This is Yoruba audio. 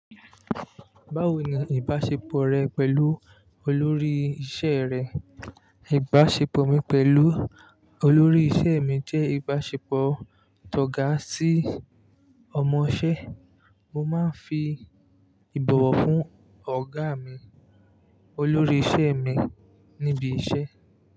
Báwo ni ìbásepọ̀ rẹ pẹ̀lú olórí isẹ́ rẹ? Ìbásepọ̀ mi pẹ̀lú olórí isẹ́ mi jẹ́ ìbásepọ̀ tọ́ga sí ọmọṣẹ́. Mo máa ń fi ìbọ̀wọ̀ fún ọ̀gá mi, olórí isẹ́ mi níbi isẹ́.